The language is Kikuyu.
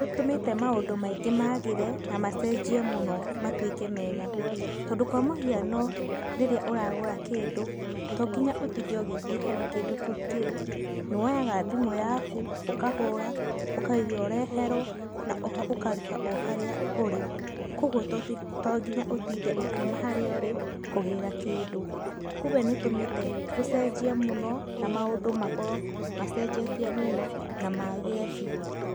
Nĩ ĩtũmĩte maũndũ maingĩ magĩre na macenjie mũno na matuĩke mega, tondũ kwa mũhiano, rĩrĩa ũragũra kĩndũ to nginya ũtinde ũgĩthiĩ harĩa kĩndũ kĩu kĩrĩ, nĩ woyaga thimũ yaku ũkahũra, ũkauga ũreherwo na oho ũkarĩha o harĩa ũrĩ, koguo to nginya ũtinde ũkiuma harĩa ũrĩ kũgĩra kĩndũ, kumbe nĩ ĩtũmĩte gũcenjie mũno na maũndũ makorwo macenjetie mũno na magĩre biũ.